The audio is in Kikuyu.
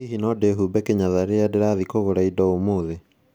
Hihi no ndihumbe kinyatha rĩrĩa ndĩrathiĩ kũgũra indo ũmũthĩ?